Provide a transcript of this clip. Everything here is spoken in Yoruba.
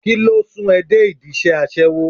Kíló sún ẹ dé ìdí iṣẹ́ aṣẹ́wó?